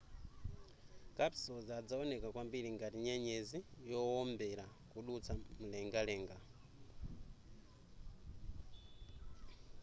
kapisozi adzawoneka kwambiri ngati nyenyezi yowombera kudutsa m'mulengalenga